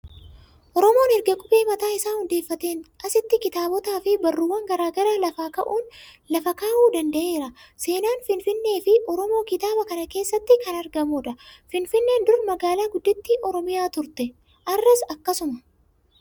Oromoon erga qubee mataa isaa hundeeffateen asitti kitaabotaa fi barruuwwan garaa garaa lafa kaa'uu danda'eera. Seenaan Finfinnee fi Oromoo kitaaba kana keessatti kan argamudha. Finfinneen dur magaalaa gudditti Oromiyaa turte.